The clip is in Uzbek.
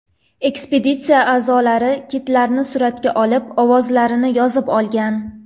Ekspeditsiya a’zolari kitlarni suratga olib, ovozlarini yozib olgan.